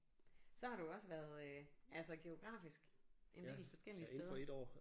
Så har du jo også været altså geografisk en del forskellige steder